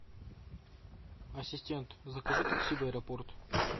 ассистент закажи такси в аэропорт